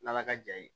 N'ala ka jaa ye